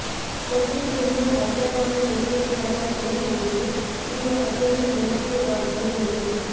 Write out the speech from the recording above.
ಕಸೂತಿಯನ್ನು ಐಷಾರಾಮಿ ಗರಿಗರಿಯಾದ ಬಿಳಿ ಉಡುಗೆ ಈಗ ಅತ್ಯಂತ ಜನಪ್ರಿಯವಾಗಿದೆ ಎಂದು